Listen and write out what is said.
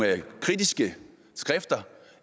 kritiske skrifter